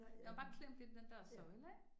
Der var bare klemt lidt i den der søjle ik